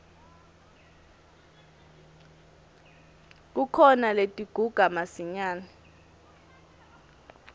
kukhona letiguga masinyane